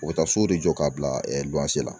U bɛ taa sow de jɔ k'a bila la